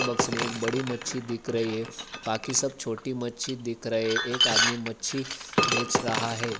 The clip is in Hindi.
बॉक्स एक बड़ी मच्छी दिख रही है बाकी सब छोटी मच्छी दिख रहे है एक आदमी मच्छी बेच रहा है।